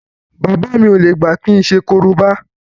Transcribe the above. Bàbá mi ò lè gbà kí n ṣe korobá